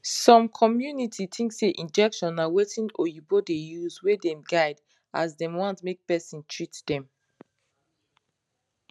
some cummunities think say injection na wetin oyinbo de use wey dem guide as dem want make person treat them